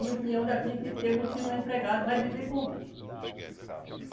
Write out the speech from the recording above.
E o peão daqui, tem muitos que não é empregado, vai viver como?